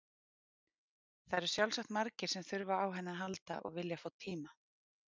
Það eru sjálfsagt margir sem þurfa á henni að halda og vilja fá tíma.